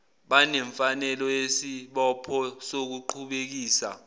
banemfanelo nesibopho sokuqhubekisa